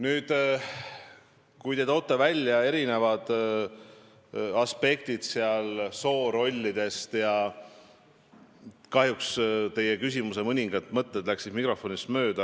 Nüüd, te tõite välja erinevaid aspekte – soorollid ja muud – ning kahjuks osa teie küsimusest läks mikrofonist mööda.